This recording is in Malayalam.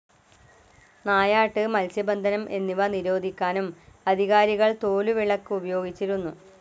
നായാട്ട്, മൽസ്യബന്ധനം എന്നിവ നിരോധിക്കാനും അധികാരികൾ തോലുവിളക്ക് ഉപയോഗിച്ചിരുന്നു.